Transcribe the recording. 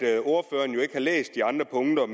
jeg læst de andre punkter